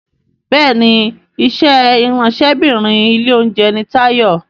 Béèni iṣé Ìráńṣẹ́bìnrin ilé-oúnjẹ ní Tayo.